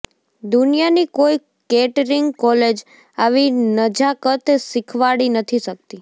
દુનિયાની કોઈ catering college આવી નજાકત શીખવાડી નથી શકતી